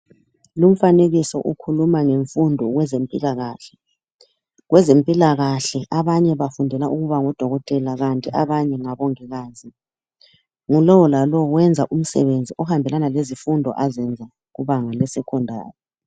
Lumfanekiso ukhuluma ngemfundo kwezempilakahle. Kwezempilakahle abanye bafundela ukubangodokotela kanti abanye ngabongikazi ngulowo lalowo wenza umsebenzi ohambelana lezifundo azenza kubanga lesecondary.